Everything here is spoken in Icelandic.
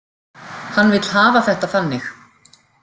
Hann vill hafa þetta þannig.